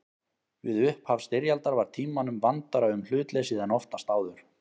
Við upphaf styrjaldar var Tímanum vandara um hlutleysið en oftast áður.